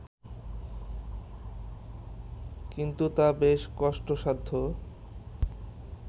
কিন্তু তা বেশ কষ্টসাধ্য